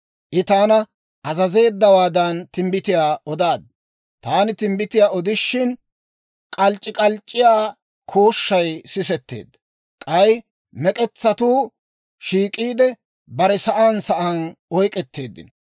I taana azazeeddawaadan timbbitiyaa odaad; taani timbbitiyaa odishin, k'alc'c'ik'alc'c'iyaa kooshshay sisetteedda; k'ay mek'etsatuu shiik'iide, bare sa'aan sa'aan oyk'k'etteeddino.